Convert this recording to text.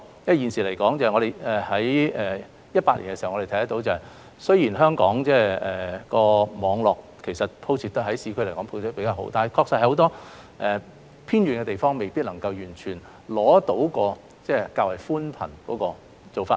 我們在2018年亦看到，雖然香港市區的網絡鋪設得比較好，但確實有很多偏遠地方未必能夠完全使用寬頻。